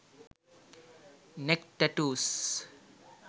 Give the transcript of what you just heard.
neck tattoos